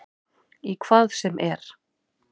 Í hvað sem er.